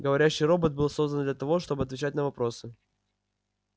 говорящий робот был создан для того чтобы отвечать на вопросы